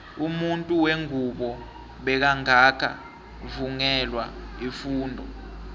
umuntu wengubo bekangaka vungelwa ifundo